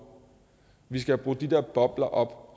vi skal have brudt de der bobler op